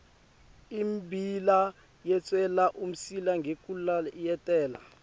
immbila yeswela umsila ngekulayetela